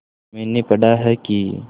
मैंने पढ़ा है कि